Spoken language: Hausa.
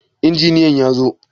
Injiniyan ya zo?